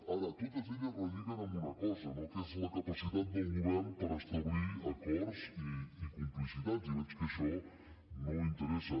ara totes elles relliguen en una cosa no que és la capacitat del govern per establir acords i complicitats i veig que això no interessa